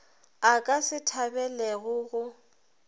a ka se thabelego go